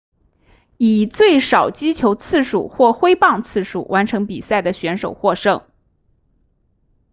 以最少击球次数或挥棒次数完成比赛的选手获胜